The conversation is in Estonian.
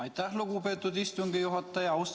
Aitäh, lugupeetud istungi juhataja!